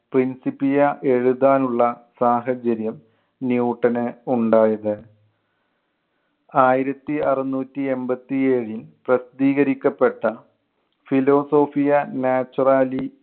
principia എഴുതാനുള്ള സാഹചര്യം ന്യൂട്ടന് ഉണ്ടായത്. ആയിരത്തി അറുനൂറ്റി എൺപത്തി ഏഴിൽ പ്രസിദ്ധീകരിക്കപ്പെട്ട philosophiae naturalis